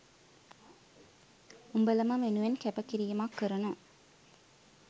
උඹලම වෙනුවෙන් කැප කිරීමක් කරන